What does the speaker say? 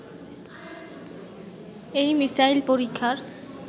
এই মিসাইল পরীক্ষার